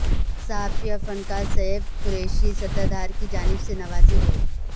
صحافی اور فنکار شعیب قریشی ستردھار کی جانب سے نوازے گئے